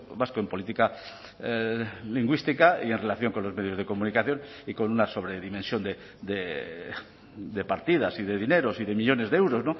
vasco en política lingüística y en relación con los medios de comunicación y con una sobredimensión de partidas y de dineros y de millónes de euros